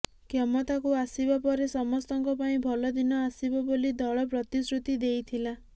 କ୍ଷମତାକୁ ଆସିବା ପରେ ସମସ୍ତଙ୍କ ପାଇଁ ଭଲଦିନ ଆସିବ ବୋଲି ଦଳ ପ୍ରତିଶ୍ରୁତି ଦେଇଥିଲା